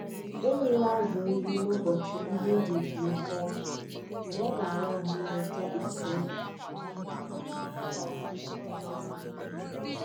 Anyị um na-azụ ndị ọrụ anyị ịnyoba um ányá mata ka azụ si eri nri, iji chọpụta ọrịa m'ọbụ ahụ mgbu ọsịsọ.